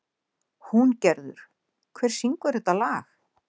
Húngerður, hver syngur þetta lag?